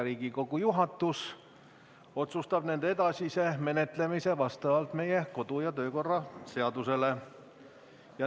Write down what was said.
Riigikogu juhatus otsustab nende edasise menetlemise vastavalt meie kodu- ja töökorra seadusele.